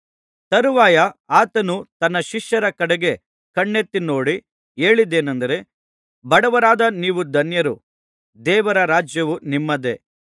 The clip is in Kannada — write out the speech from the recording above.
ತರುವಾಯ ಆತನು ತನ್ನ ಶಿಷ್ಯರ ಕಡೆಗೆ ಕಣ್ಣೆತ್ತಿನೋಡಿ ಹೇಳಿದ್ದೇನಂದರೆ ಬಡವರಾದ ನೀವು ಧನ್ಯರು ದೇವರ ರಾಜ್ಯವು ನಿಮ್ಮದೇ